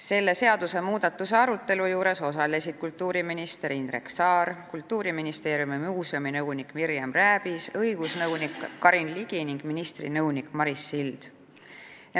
Selle seadusmuudatuse arutelul osalesid kultuuriminister Indrek Saar, Kultuuriministeeriumi muuseuminõunik Mirjam Rääbis, õigusnõunik Karin Ligi ning ministri nõunik Maris Sild.